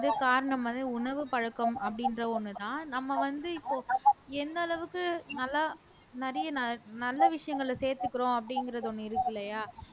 காரணம் வந்து உணவு பழக்கம் அப்படின்ற ஒண்ணுதான் நம்ம வந்து இப்போ எந்த அளவுக்கு நல்லா நிறைய நல்ல நல்ல விஷயங்களை சேர்த்துக்கிறோம் அப்படிங்கிறது ஒண்ணு இருக்கில்லையா